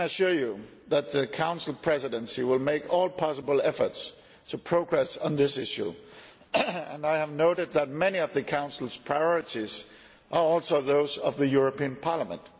I can assure you that the Council Presidency will make all possible efforts to make progress on this issue and I have noted that many of the Council's priorities are also those of the European Parliament